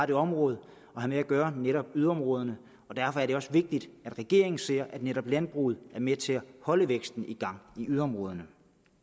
det område at gøre netop yderområderne og derfor er det også vigtigt at regeringen ser at netop landbruget er med til at holde væksten i gang i yderområderne